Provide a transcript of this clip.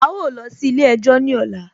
A ó lọ sí ilé ẹjọ́ ní ọ̀la